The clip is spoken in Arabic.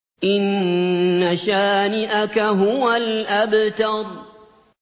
إِنَّ شَانِئَكَ هُوَ الْأَبْتَرُ